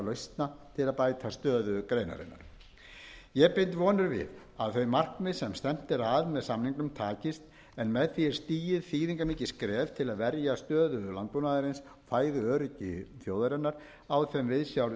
lausna til að bæta stöðu greinarinnar ég bind vonir við að þau markmið sem stefnt er að með samningunum takist en með því er stigið þýðingarmikið skref til að verja stöðu landbúnaðarins og fæðuöryggi þjóðarinnar á þeim viðsjártímum